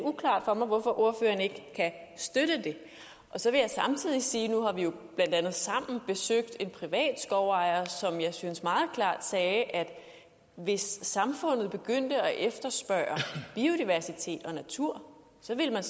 uklart for mig hvorfor ordføreren ikke kan støtte det så vil jeg samtidig sige at nu har vi jo blandt andet sammen besøgt en privat skovejer som jeg synes meget klart sagde at hvis samfundet begyndte at efterspørge biodiversitet og natur så ville man